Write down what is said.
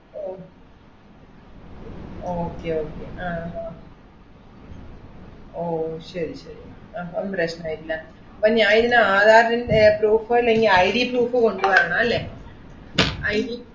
ഓ okay okay ആഹ് അഹ് ഓ ശരി ശരി, അഹ് അതും പ്രശ്‌നം ഇല്ല. അപ്പൊ ഞാൻ ഇതിന് ആധാറിൻ്റെ proof ഓ അല്ലെങ്കി IDproof കൊണ്ടുവരണം അല്ലേ ID